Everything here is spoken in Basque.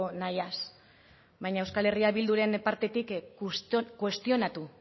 nahiaz baina euskal herria bilduren partetik kuestionatu